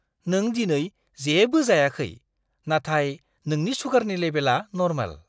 नों दिनै जेबो जायाखै, नाथाय नोंनि सुगारनि लेबेलआ नर्माल!